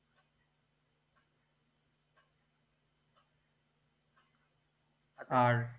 আর